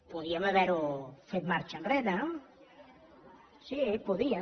podíem haver ho fet marxa enrere no sí podíem